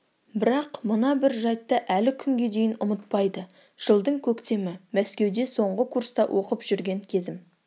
бірақ мына бір жайтты әлі күнге дейін ұмытпайды жылдың көктемі мәскеуде соңғы курста оқып жүрген кезім